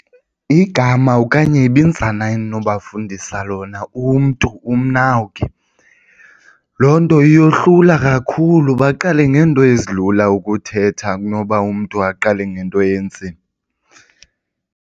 Igama okanye ibinzana endinobafundisa lona umntu umninawuki, loo nto yohlula kakhulu baqale ngento ezilula ukuthetha kunoba umntu aqale ngento enzima.